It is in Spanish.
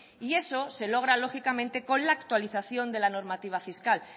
y eso se logra lógicamente con la actualización de la normativa fiscal